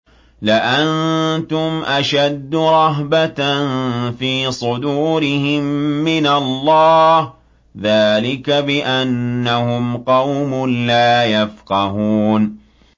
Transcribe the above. لَأَنتُمْ أَشَدُّ رَهْبَةً فِي صُدُورِهِم مِّنَ اللَّهِ ۚ ذَٰلِكَ بِأَنَّهُمْ قَوْمٌ لَّا يَفْقَهُونَ